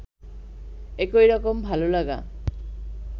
একই রকম ভালোলাগা